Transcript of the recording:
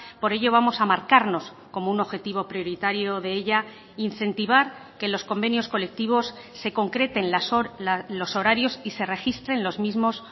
por ello vamos a marcarnos como un objetivo prioritario de ella incentivar que los convenios colectivos se concreten los horarios y se registren los mismos